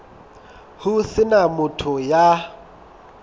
ho se na motho ya